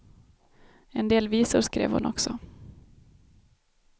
En del visor skrev hon också.